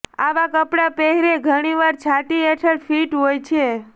આવા કપડાં પહેરે ઘણીવાર છાતી હેઠળ ફિટ હોય છે